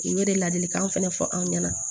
U bɛ de ladilikan fɛnɛ fɔ anw ɲɛna